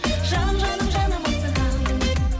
жаным жаным жаным асығамын